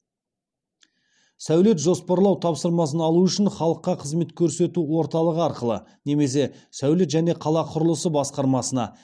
сәулет жоспарлау тапсырмасын алу үшін халыққа қызмет көрсету орталығы арқылы немесе сәулет және қала құрылысы басқармасына